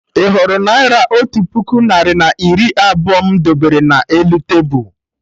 Ị hụrụ Naira otu puku narị na iri abụọ m debere na elu tebul?